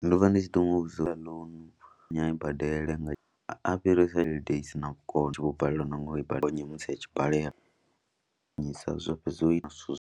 Ndo vha ndi tshi ḓo mu vhudza ḽa uri a i badele nga a fhirise tshelede i si na vhukono, u vho balelwa na nga u i badela musi a tshi balela zwo fhedza zwo ita zwithu.